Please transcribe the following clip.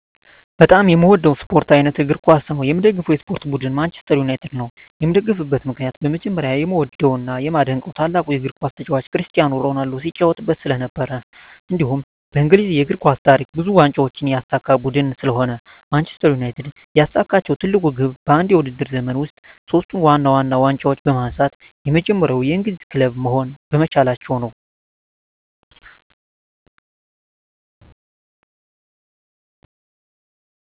በጣም የምዎደው የስፖርት አይነት እግር ኳስ ነው። የምደግፈው የስፖርት ቡድን ማንችስተር ዩናይትድ ነው። የምደግፍበት ምክንያት በመጀመሪያ የምዎደው እና የማደንቀው ታላቁ የግር ኳስ ተጫዋች ክርስቲያኖ ሮናልዶ ሲጫዎትበት ስለነበር። እንዲሁም በእንግሊዝ የእግር ኳስ ታሪክ ብዙ ዋንጫዎችን ያሳካ ቡድን ስለሆነ ነው። ማንችስተር ዩናይትድ ያሳካችው ትልቁ ግብ በአንድ የውድድር ዘመን ውስጥ ሶስቱን ዋና ዋና ዋንጫዎች በማንሳት የመጀመሪያው የእንግሊዝ ክለብ መሆን በመቻላቸው ነው።